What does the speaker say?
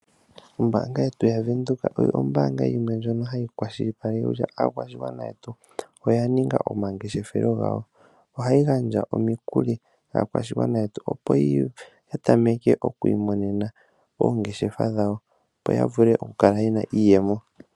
Ombaanga yetu yavenduka oyo ombaanga yimwe hayi kwashilipaleke kutya aakwashigwana yetu oya ninga omangeshethelo gawo. Ohayi gandja omikuli kaakwashigwana yetu, opo ya tameke okwiimonena oongeshefa dhawo, yo yavule okukala ye na iiyemo.